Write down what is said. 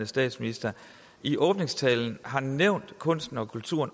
statsminister i åbningstalen har nævnt kunsten og kulturen